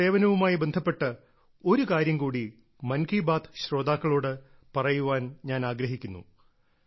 police സേവനവുമായി ബന്ധപ്പെട്ട ഒരുകാര്യം കൂടി മൻ കി ബാത്ത് ശ്രോതാക്കളോട് പറയാൻ ഞാൻ ആഗ്രഹിക്കുന്നു